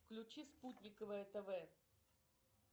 включи спутниковое тв